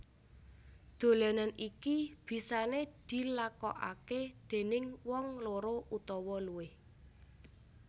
Dolanan iki bisane dilakokake déning wong loro utawa luwih